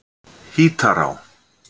Hítará